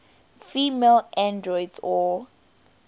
female androids or